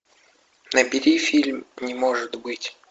набери фильм не может быть